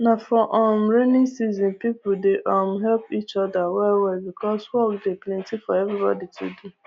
na for um raining season people dey um help each other well well because work dey plenty for everybody to do